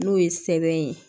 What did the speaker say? N'o ye sɛbɛn ye